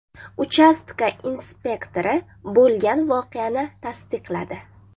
Uchastka inspektori bo‘lgan voqeani tasdiqladi.